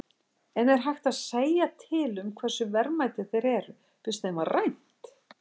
En er hægt að segja til um hversu verðmætir þeir eru, fyrst þeim var rænt?